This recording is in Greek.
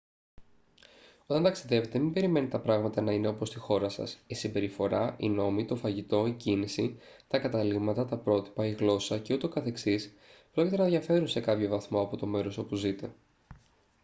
όταν ταξιδεύετε μην περιμένετε τα πράγματα να είναι όπως στη χώρα σας η συμπεριφορά οι νόμοι το φαγητό η κίνηση τα καταλύματα τα πρότυπα η γλώσσα και ούτω καθεξής πρόκειται να διαφέρουν σε κάποιον βαθμό από το μέρος όπου ζείτε